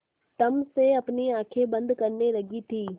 तम से अपनी आँखें बंद करने लगी थी